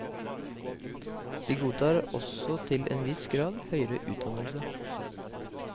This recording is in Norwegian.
De godtar også til en viss grad høyere utdannelse.